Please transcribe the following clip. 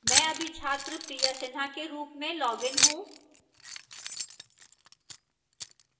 मैंने अभी छात्र priya sinha के रूप में लॉगिन हूँ